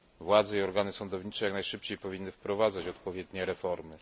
Władze i organy sądownicze jak najszybciej powinny wprowadzić odpowiednie reformy.